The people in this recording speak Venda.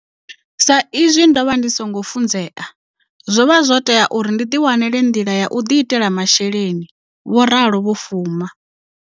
Sa i zwi ndo vha ndi songo funzea, zwo vha zwo tou tea uri ndi ḓiwanele nḓila ya u ḓiitela masheleni, vho ralo Vho Fuma.